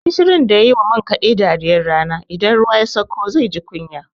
Gushirun da ya yi wa man kaɗe dariyar rana, idan ruwa ya sakko zai ji kunya.